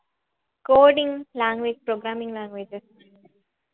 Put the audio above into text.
coding language programming languages